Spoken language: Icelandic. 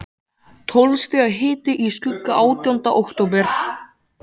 Tólf stiga hiti í skugga átjánda október.